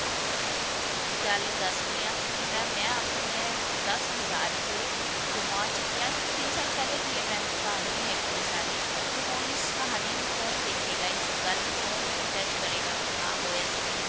ਗੱਲ ਦੱਸ ਰਹੀ ਹਾਂ ਕਿਉਂਕਿ mam ਮੈਂ ਆਪਣੇ ਦਸ ਹਜ਼ਾਰ ਰੁਪਏ ਗੁਮਾ ਚੁੱਕੀ ਹਾਂ ਅੱਜ ਤੋਂ ਤਿੰਨ ਸਾਲ ਪਹਿਲੇ ਦੀ ਇਹ mam ਕਹਾਣੀ ਹੈਗੀ ਹੈ ਸਾਰੀ ਤੇ ਹੁਣ ਇਸ ਕਹਾਣੀ ਨੂੰ ਕੋਣ ਦੇਖੇਗਾ ਇਸ ਗੱਲ ਨੂੰ ਕੋਣ jugde ਕਰੇਗਾ ਕਿ ਹਾਂ ਹੋਇਆ ਸੀ ਕੇ ਨਹੀਂ